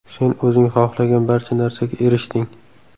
Sen o‘zing xohlagan barcha narsaga erishding.